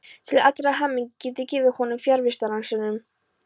Til allrar hamingju get ég gefið honum fjarvistarsönnun.